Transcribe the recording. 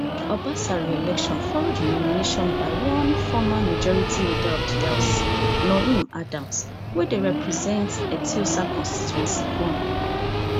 obasa reelection follow di nomination by one former majority leader of di house noheem adams wey dey represents etiosa constituency one